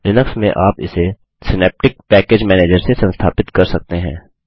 Linux में आप इसे सिनैप्टिक पैकेज मैनेजर से संस्थापित कर सकते हैं